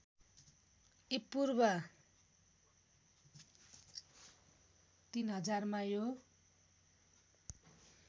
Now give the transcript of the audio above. ईपूर्व ३०००मा यो